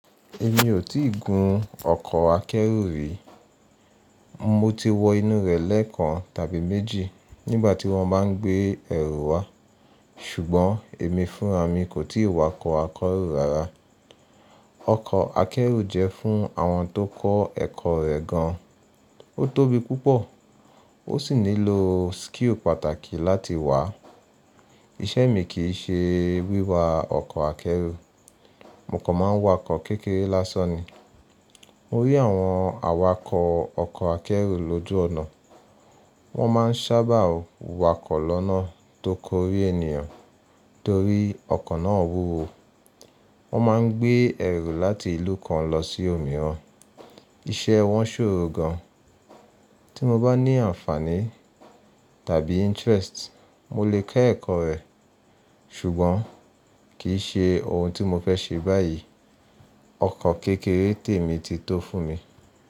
Èmi ò tíì gun ọkọ̀ akẹ́rù rí. Mo ti wo inú rẹ̀ lẹ́ẹ́kan tàbí méjì nígbà tí wọ́n máa ń gbé ẹrù wá, ṣùgbọ́n èmi fúnra mi kò tíì wakọ̀ akẹ́rù rara. Ọkọ̀ akẹ́rù jẹ́ fún àwọn tó kọ́ ẹ̀kọ́ rẹ̀ gan. Ó tóbi púpọ̀ ó sì nílò skill pàtàkì láti wà á. Iṣẹ́ mi kì í ṣe wíwa ọkọ̀ akẹ́rù. Mo kàn máa ń wakọ̀ kékeré lásán ni. Mo rí àwọn awakọ̀ ọkọ̀ akẹ́rù lójú ọ̀nà. Wọ́n máa ń sábà wakọ̀ lọ́nà tó kórí ènìyàn torí ọkọ̀ náà wúwo. Wọ́n máa ń gbé ẹrù láti ìlú kan lọ sí òmíràn. Iṣẹ́ wọn ṣòro gan. Tí mo bá ní àǹfààní tàbí interest, mo lè kẹ́ ẹ̀kọ́ rẹ̀, ṣùgbọ́n kì í ṣe ohun tí mo fẹ́ ṣe báyìí. Ọkọ̀ kékeré tèmi ti tó fún mi.